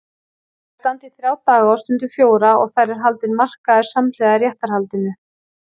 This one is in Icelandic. Þær standa í þrjá daga og stundum fjóra og þar er haldinn markaður samhliða réttarhaldinu.